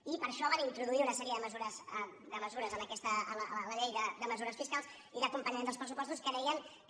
i per això van introduir una sèrie de mesures a la llei de mesures fiscals i d’acompanyament dels pressupostos que deien que